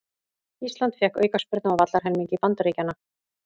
Ísland fékk aukaspyrnu á vallarhelmingi Bandaríkjanna